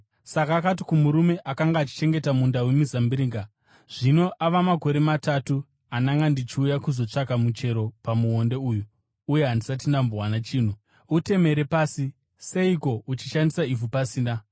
Saka akati kumurume akanga achichengeta munda wemizambiringa, ‘Zvino ava makore matatu andanga ndichiuya kuzotsvaka muchero pamuonde uyu uye handisati ndambowana chinhu. Utemere pasi! Seiko uchishandisa ivhu pasina?’